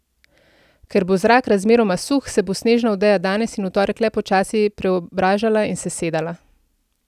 Ker bo zrak razmeroma suh, se bo snežna odeja danes in v torek le počasi preobražala in sesedala.